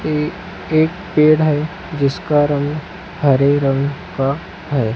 ये एक पेड़ है जिसका रंग हरे रंग का है।